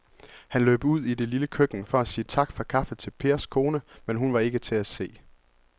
Han løb ud i det lille køkken for at sige tak for kaffe til Pers kone, men hun var ikke til at se.